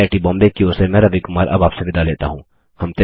IIT Bombay की ओर से मैं रवि कुमार अब आप से विदा लेता हूँ